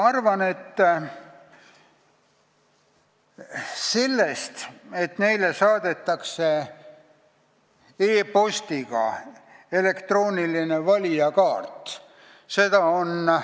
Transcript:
Ma arvan, et sellest, et neile saadetakse e-postiga elektrooniline valijakaart ...